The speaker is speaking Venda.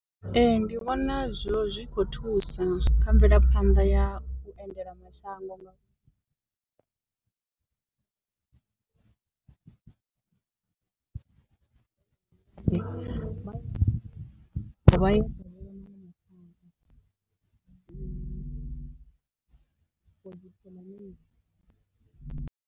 Ee ndi vhona zwo zwi khou thusa kha mvelaphanḓa ya u endela mashango ndi nga why why.